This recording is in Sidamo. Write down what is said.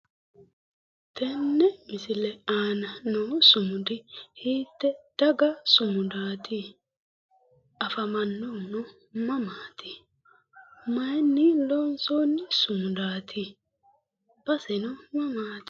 Tenne misile aana noo sumudi hiitte daga sumudaati? afamannohuno mamaati? maayiinni loonsoonni sumudaati? baseno mamaati?